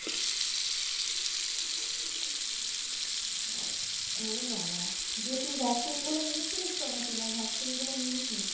ও বাবা, দিয়ে তুই vaccine গুলো নিয়েছিলিস তো? নাকি না vaccine গুলো নিসনি?